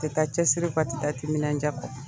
Tɛ taa cɛsiri kɔ, a te taa timinandiya kɔ.